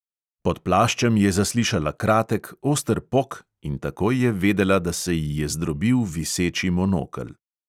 Pod plaščem je zaslišala kratek, oster pok in takoj je vedela, da se ji je zdrobil viseči monokel.